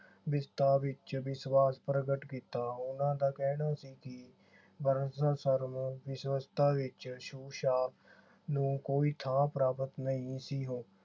ਵਿਵਸਥਾ ਵਿਚ ਵਿਸ਼ਵਾਸ ਪ੍ਰਗਟ ਕੀਤਾ। ਉਨ੍ਹਾਂ ਦਾ ਕਹਿਣਾ ਸੀ ਕਿ ਵਰਣ ਵਿਵਸਥਾ ਵਿਚ ਛੂਤ ਛਾਤ ਨੂੰ ਕੋਈ ਥਾਂ ਪ੍ਰਾਪਤ ਨਹੀਂ ਸੀ ਹੋ